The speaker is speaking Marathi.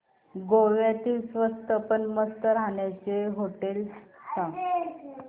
गोव्यातली स्वस्त पण मस्त राहण्याची होटेलं सांग